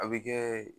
A bɛ kɛ